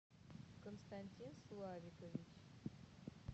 константин славикович